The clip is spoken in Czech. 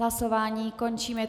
Hlasování končím.